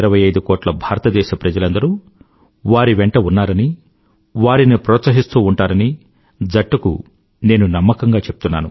125 కోట్ల భారతదేశ ప్రజలందరూ వారి వెంట ఉన్నారని వారిని ప్రోత్సహిస్తూ ఉంటారని జట్టుకు నేను నమ్మకంగా చెప్తున్నాను